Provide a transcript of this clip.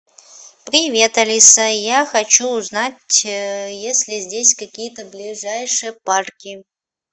привет алиса я хочу узнать есть ли здесь какие то ближайшие парки